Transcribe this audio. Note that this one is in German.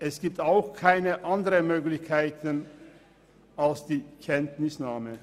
Es gibt auch keine anderen Möglichkeiten als die Kenntnisnahme.